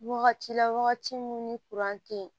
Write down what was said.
Wagati la wagati min ni tɛ yen